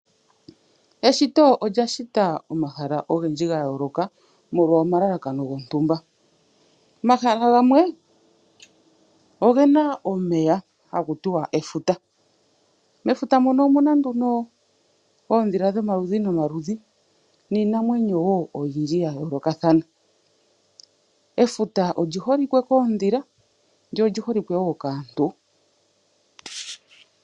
Eshito olya shita omahala ogendji ga yooloka molwa omalalakano gontumba. Omahala gamwe ogena omeya haku tiwa efuta. Mefuta muno omuna nduno oodhila dhomaludhi nomaludhi niinamwenyo wo oyindji ya yoolokathana. Efuta olyi holike koodhila lyo olyi holike wo kaantu.